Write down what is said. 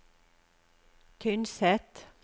Tynset